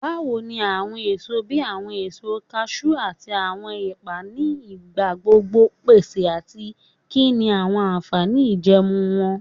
Bawo ni awọn eso bi awọn eso cashew ati awọn epa ni igbagbogbo pese ati kini awọn anfani ijẹẹmu wọn?